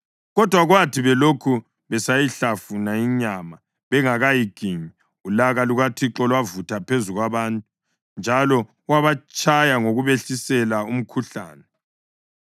Kodwa kwathi belokhu besayihlafuna inyama bengakayiginyi, ulaka lukaThixo lwavutha phezu kwabantu, njalo wabatshaya ngokubehlisela umkhuhlane.